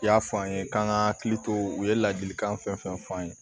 I y'a fɔ an ye k'an ka hakili to u ye ladilikan fɛn fɛn f'an ye